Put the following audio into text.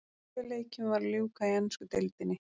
Sjö leikjum var að ljúka í ensku deildinni.